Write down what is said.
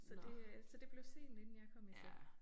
Så det øh så det blev sent inden jeg kom i seng